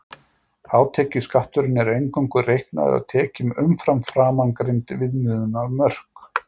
Hátekjuskatturinn er eingöngu reiknaður af tekjum umfram framangreind viðmiðunarmörk.